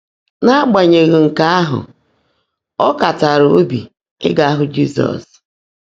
N’ágbányèghị́ nkè áhụ́, ọ́ kàtààrá óbí ígá hụ́ Jị́zọ́s.